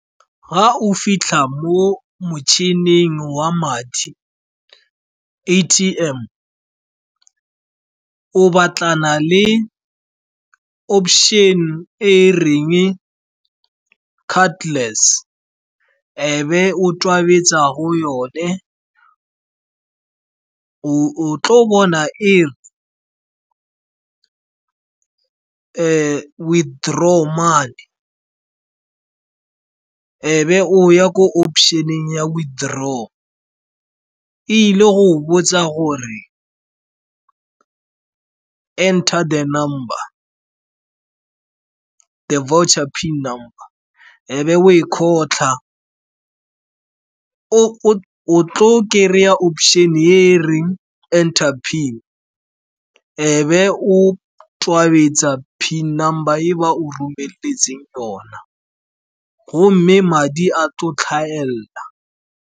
Fa o fitlha mo motšhining wa madi, A_T_M, o batlana le option e e reng cardless, ebe o tobetsa go yone. O tlo bona e re withdraw money, ebe o ya ko option-eng ya withdraw. E ile go botsa gore enter the voucher PIN number, ebe o e kgotlha. O tlo kry-a option e e reng enter PIN, ebe o tobetsa PIN number e ba o romeletseng yona. Gomme madi a tlo hlahella.